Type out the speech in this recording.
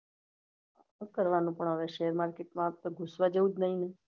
શું કરવાનું પણ હવે share market માં હવે ઘુસવા જેવું જ નહી